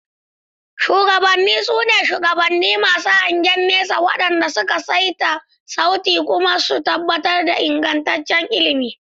Shugabanni, su ne shugabanni masu hangen nesa waɗanda suka saita sauti kuma suna tabbatar da ingantaccen ilimi.